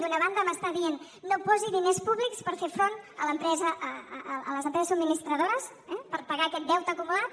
d’una banda m’està dient no posi diners públics per fer front a les empreses subministradores per pagar aquest deute acumulat